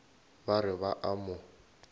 ba re ba a mo